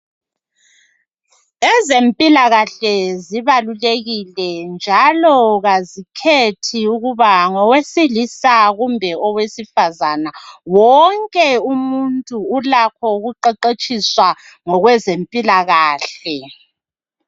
Ezempilakahle zibalulekile njalo azikhethi ukuba ngiwesilisa kumbe owesifazana. Wonke umuntu ulakho ukuqeqetshiswa ngezempilakahle.